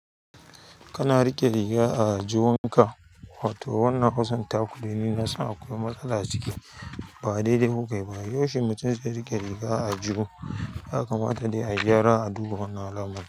Kana riƙe riga a aljihunka, wato wannan hausartaku dai nina san akwai matsala ciki ba daidai kukai ba. Yaushe mutum zai riƙe riga a aljihu, ya kamata dai a gyara a duba wannan alamari.